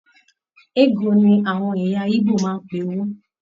Ego ní àwọn ẹyà igbó máa n pé owó.